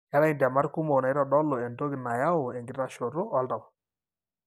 keetae intemat kumok naitodolu entoki nayau enkitashoto oltau.